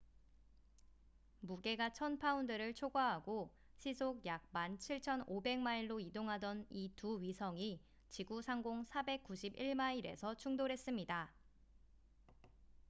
무게가 1,000파운드를 초과하고 시속 약 17,500마일로 이동하던 이 두 위성이 지구 상공 491마일에서 충돌했습니다